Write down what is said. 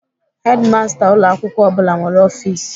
Hedimasta ụlọ akwụkwọ ọ bụla nwere ọfis.